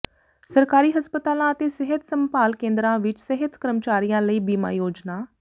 ਸਰਕਾਰੀ ਹਸਪਤਾਲਾਂ ਅਤੇ ਸਿਹਤ ਸੰਭਾਲ ਕੇਂਦਰਾਂ ਵਿੱਚ ਸਿਹਤ ਕਰਮਚਾਰੀਆਂ ਲਈ ਬੀਮਾ ਯੋਜਨਾ